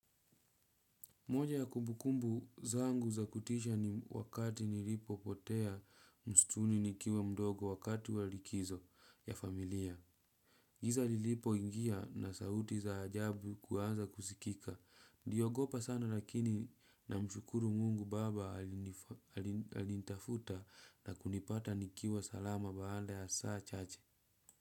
Moja ya kumbukumbu zangu za kutisha ni wakati nilipopotea msituni nikiwa mdogo wakati wa likizo ya familia. Giza lilipo ingia na sauti za ajabu kuanza kusikika. Niliogopa sana lakini namshukuru mungu baba alinitafuta na kunipata nikiwa salama baada ya saa chache.